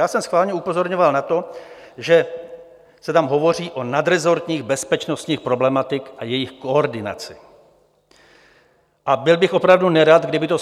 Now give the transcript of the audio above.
Já jsem schválně upozorňoval na to, že se tam hovoří o nadresortních bezpečnostních problematikách a jejich koordinaci, a byl bych opravdu nerad, kdyby to